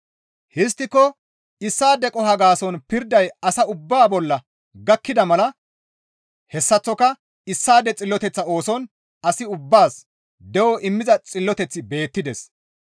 Histtiko issaade qoho gaason pirday asa ubbaa bolla gakkida mala hessaththoka issaade xilloteththa ooson as ubbaas de7o immiza xilloteththi beettides.